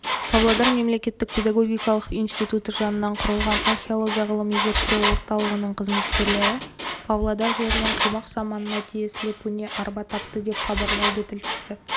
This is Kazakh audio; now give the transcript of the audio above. павлодар мемлекеттік педагогикалық институты жанынан құрылған археология ғылыми-зерттеу орталығының қызметкерлері павлодар жерінен қимақ заманына тиесілі көне арба тапты деп хабарлайды тілшісі